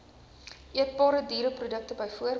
eetbare diereprodukte bv